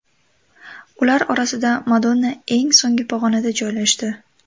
Ular orasida Madonna eng so‘nggi pog‘onada joylashdi.